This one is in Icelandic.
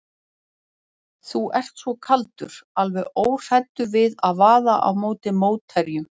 Þú ert svo kaldur, alveg óhræddur við að vaða á móti mótherjunum.